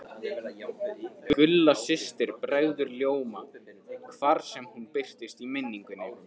Gulla systir bregður ljóma hvar sem hún birtist í minningunni.